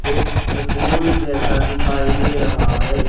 एक सकूल जैसा दिखाई दे रहा है।